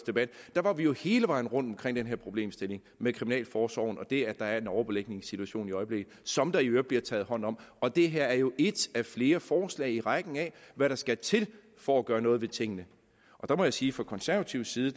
der var vi jo hele vejen rundt omkring den her problemstilling med kriminalforsorgen og det at der er en overbelægningssituation i øjeblikket som der i øvrigt bliver taget hånd om og det her er jo ét af flere forslag i rækken af hvad der skal til for at gøre noget ved tingene der må jeg sige fra konservativ side